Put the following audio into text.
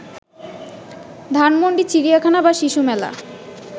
ধানমন্ডি, চিড়িয়াখানা বা শিশু মেলা